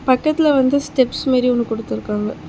பக்கத்துல வந்து ஸ்டெப்ஸ் மேரி ஒன்னு குடுத்துருக்காங்க.